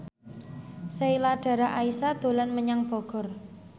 Sheila Dara Aisha dolan menyang Bogor